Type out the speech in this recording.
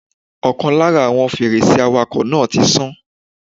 Ọ̀kan lára àwọn fèrèsé awàkọ̀ náà tí sán.